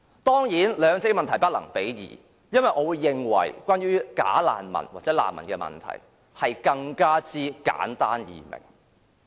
當然，兩個問題是不能比較的，因為我認為就着"假難民"或難民問題，其實是更加簡單易明。